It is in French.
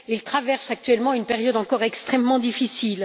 Ils traversent actuellement une période encore extrêmement difficile.